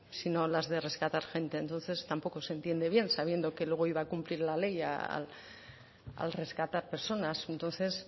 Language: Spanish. sino las de rescatar gente entonces tampoco se entiende bien sabiendo que luego iba a cumplir la ley al rescatar personas entonces